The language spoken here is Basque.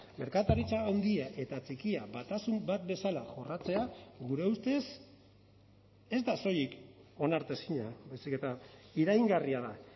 merkataritza handia eta txikia batasun bat bezala jorratzea gure ustez ez da soilik onartezina baizik eta iraingarria da